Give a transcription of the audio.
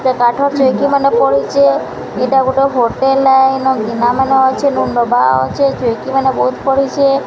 ସେ କାଠର୍ ଚେଇକି ମାନେ ପଡ଼ିଚେ ଏଇଟା ଗୋଟେ ହୋଟେଲ୍ ଏଇନ ଗିନା ମାନେ ଅଛେ ନବା ଅଛେ ଚୋଉକି ମାନେ ବହୁତ୍ ପଡିଛେ।